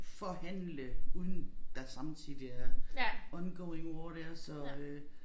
Forhandle uden der samtidig er ongoing war dér så øh